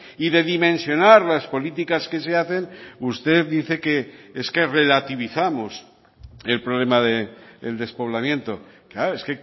y de dimensionar las políticas que se hacen usted dice que es que relativizamos el problema del despoblamiento es